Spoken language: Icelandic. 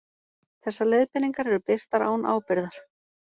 Þessar leiðbeiningar eru birtar án ábyrgðar.